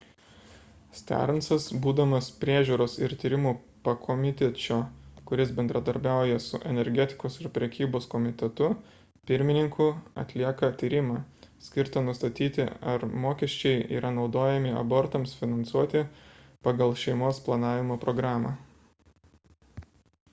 stearnsas būdamas priežiūros ir tyrimų pakomitečio kuris bendradarbiauja su energetikos ir prekybos komitetu pirmininku atlieka tyrimą skirtą nustatyti ar mokesčiai yra naudojami abortams finansuoti pagal šeimos planavimo programą